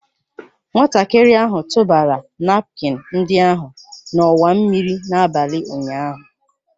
Nwatakịrị ahụ tụbara napkin ndị ahụ n'ọwa mmiri n'abalị ụnyaahụ